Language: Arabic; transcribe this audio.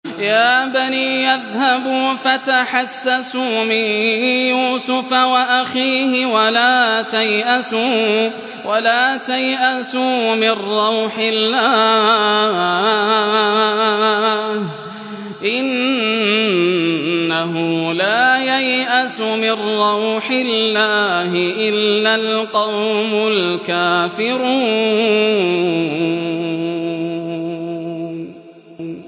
يَا بَنِيَّ اذْهَبُوا فَتَحَسَّسُوا مِن يُوسُفَ وَأَخِيهِ وَلَا تَيْأَسُوا مِن رَّوْحِ اللَّهِ ۖ إِنَّهُ لَا يَيْأَسُ مِن رَّوْحِ اللَّهِ إِلَّا الْقَوْمُ الْكَافِرُونَ